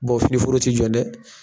finiforo ti jɔn dɛ